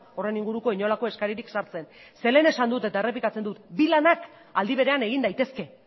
horren inguruko inolako eskaririk sartzen ze lehen esan dut eta errepikatzen dut bi lanak aldi berean egin daitezke